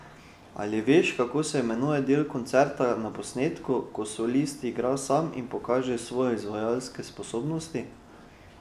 Ali veš, kako se imenuje del koncerta na posnetku, ko solist igra sam in pokaže svoje izvajalske sposobnosti?